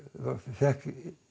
fékk